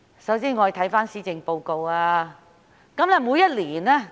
首先，我們看看施政報告。